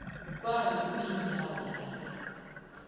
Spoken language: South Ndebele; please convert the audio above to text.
kwabe kuyindawo lapha